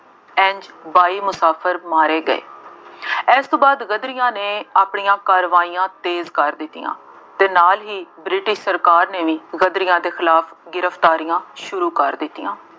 ਇੰਝ ਬਾਈ ਮੁਸਾਫਿਰ ਮਾਰੇ ਗਏ। ਇਸ ਤੋਂ ਬਾਅਦ ਗਦਰੀਆਂ ਨੇ ਆਪਣੀਆਂ ਕਾਰਵਾਈਆਂ ਤੇਜ਼ ਕਰ ਦਿੱਤੀਆਂ ਅਤੇ ਨਾਲ ਹੀ ਬ੍ਰਿਟਿਸ਼ ਸਰਕਾਰ ਨੇ ਵੀ ਗਦਰੀਆਂ ਦੇ ਖਿਲਾਫ ਗ੍ਰਿਫਤਾਰੀਆਂ ਸ਼ੁਰੂ ਕਰ ਦਿੱਤੀਆਂ।